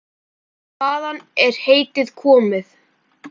Þaðan er heitið komið.